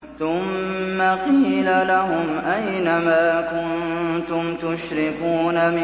ثُمَّ قِيلَ لَهُمْ أَيْنَ مَا كُنتُمْ تُشْرِكُونَ